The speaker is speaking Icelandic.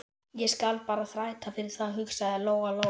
Ég skal bara þræta fyrir það, hugsaði Lóa Lóa.